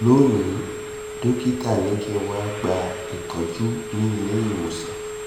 lónìí dọ́kítà ní kí n wá gba ìtọ́jú ní ilé ìwòsàn